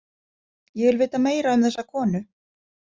Ég vil vita meira um þessa konu.